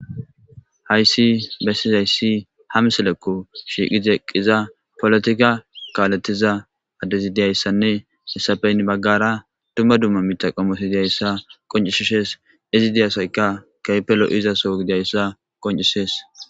hayssi bessizayssi hamselekko shiiqi deqqiza polotika kaaletiza addezi diyayssanne hessafeynn baggara dumma dumma mita qomosidiyayssa qoncishishees izi diyasayka kaypelo izaso gidayssa qoncisees